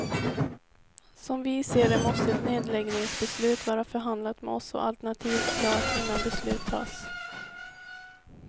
Som vi ser det måste ett nedläggningsbeslut vara förhandlat med oss och alternativ klart innan beslut tas.